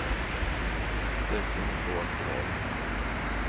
Det ska hon få efter valet.